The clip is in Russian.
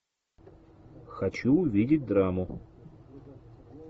хочу увидеть драму